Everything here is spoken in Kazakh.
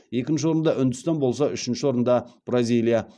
екінші орында үндістан болса үшінші орында бразилия